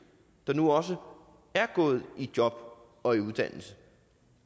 der nu også er kommet i job og i uddannelse